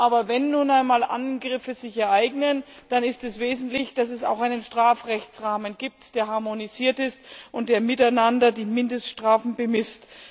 Aber wenn sich nun einmal Angriffe ereignen, dann ist es wesentlich, dass es auch einen Strafrechtsrahmen gibt, der harmonisiert ist und der gemeinsame Mindeststrafen bemisst.